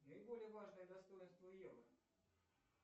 наиболее важные достоинства евро